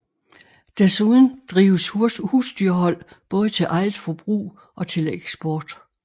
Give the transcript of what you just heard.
Desuden drives husdyrhold både til eget forbrug og til eksport